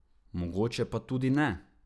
Mogoče pa tudi ne.